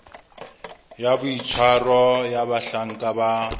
ya boitshwaro ya bahlanka ba